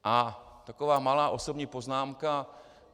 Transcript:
A taková malá osobní poznámka.